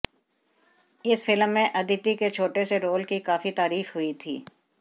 इस फिल्म में अदिति के छोटे से रोल की काफी तारीफ हुई थी